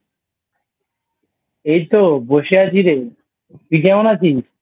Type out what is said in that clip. এইতো বসে আছি রে তুই কেমন আছিস?